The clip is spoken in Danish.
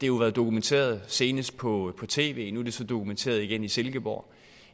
jo været dokumenteret senest på tv nu er det så dokumenteret igen i silkeborg